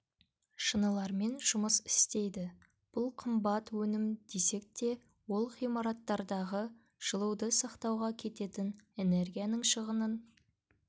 шынылармен жұмыс істейді бұл қымбат өнім десек те ол ғимараттардағы жылуды сақтауға кететін энергияның шығынын